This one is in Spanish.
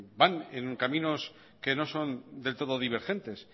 van en caminos que no son del todo divergentes